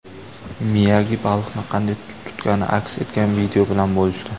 Miyagi baliqni qanday tutgani aks etgan video bilan bo‘lishdi.